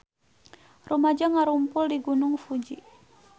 Rumaja ngarumpul di Gunung Fuji